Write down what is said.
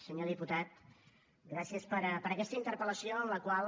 senyor diputat gràcies per aquesta interpel·lació en la qual